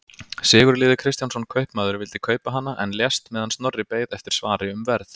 Sigurliði Kristjánsson kaupmaður vildi kaupa hana en lést meðan Snorri beið eftir svari um verð.